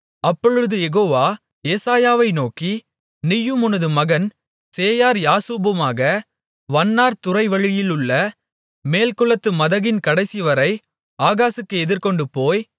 அப்பொழுது யெகோவா ஏசாயாவை நோக்கி நீயும் உனது மகன் சேயார் யாசூபுமாக வண்ணார் துறைவழியிலுள்ள மேல்குளத்து மதகின் கடைசிவரை ஆகாசுக்கு எதிர்கொண்டுபோய்